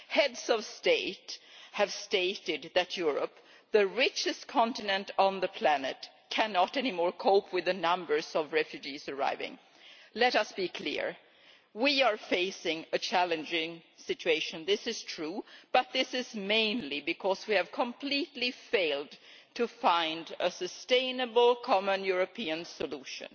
Heads of State have stated that Europe, the richest continent on the planet, can no longer cope with the numbers of refugees arriving. Let us be clear we are facing a challenging situation. This is true, but this is mainly because we have completely failed to find a sustainable common European solution.